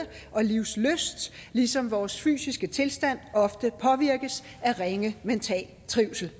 og livslyst ligesom vores fysiske tilstand ofte påvirkes af ringe mental trivsel